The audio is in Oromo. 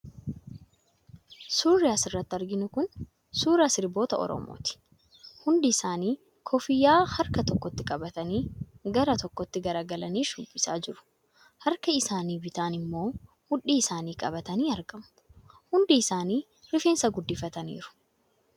Suurri asirratti arginu kun suuraa sirboota Oromooti. Hundi isaanii kuffiyyaa harka tokkotti qabatanii, gara tokkotti garagalanii shubbisaa jiru. Harka isaanii bitaan immoo mudhii isaanii qabatii argamu. Hundi isaanii rifeensa guddifataniiru.